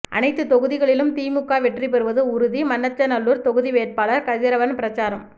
அனைத்து தொகுதிகளிலும் திமுக வெற்றிபெறுவது உறுதி மண்ணச்சநல்லூர் தொகுதி வேட்பாளர் கதிரவன் பிரசாரம்